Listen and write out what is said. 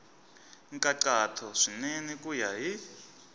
nkhaqato swinene ku ya hi